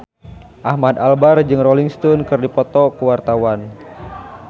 Ahmad Albar jeung Rolling Stone keur dipoto ku wartawan